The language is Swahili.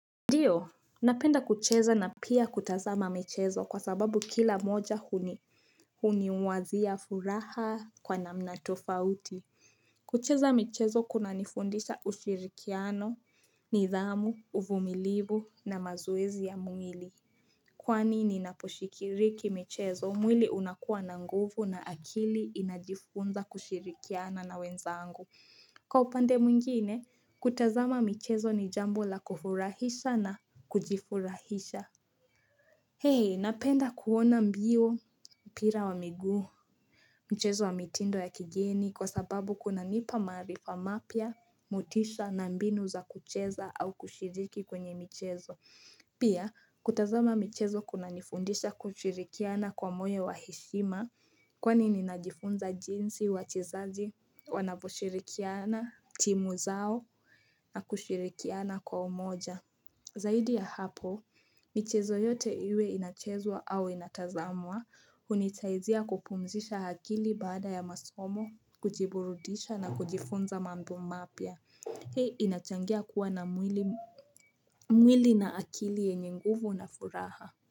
Ndio, napenda kucheza na pia kutazama michezo kwa sababu kila moja huniwazia furaha kwa namna tofauti. Kucheza michezo kuna nifundisha ushirikiano, nidhamu, uvumilivu na mazoezi ya mwili. Kwani ninaposhiriki michezo, mwili unakuwa na nguvu na akili inajifunza kushirikiana na wenzangu. Kwa upande mwingine, kutazama michezo ni jambo la kufurahisha na kujifurahisha. Hey, napenda kuona mbio, mpira wa miguu. Mchezo wa mitindo ya kigeni kwa sababu kuna nipa maarifa mapya, motisha na mbinu za kucheza au kushiriki kwenye michezo. Pia, kutazama michezo kuna nifundisha kushirikiana kwa moyo wa heshima, Kwani ninajifunza jinsi wachezaji wanavoshirikiana, timu zao na kushirikiana kwa umoja. Zaidi ya hapo, michezo yote iwe inachezwa au inatazamwa, hunitaizia kupumzisha akili baada ya masomo, kujiburudisha na kujifunza mambo mapya. Hii inachangia kuwa na mwili na akili yenye nguvu na furaha.